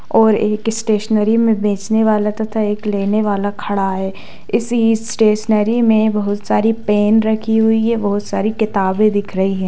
और एक स्टेशनेरी में बेचने वाला तथा एक लेने वाला खड़ा है इस स्टेशनेरी में बहुत सारी पेन रखी हुई है और बहुत सारी किताबें दिख रहीं है।